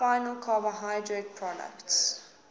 final carbohydrate products